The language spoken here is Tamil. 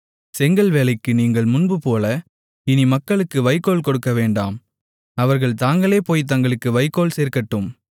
செங்கல் வேலைக்கு நீங்கள் முன்போல இனி மக்களுக்கு வைக்கோல் கொடுக்கவேண்டாம் அவர்கள் தாங்களே போய்த் தங்களுக்கு வைக்கோல் சேர்க்கட்டும்